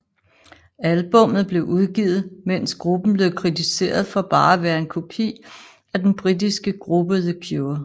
Albummet blev udgivet mens gruppen blev kritiseret for bare at være en kopi af den britiske gruppe The Cure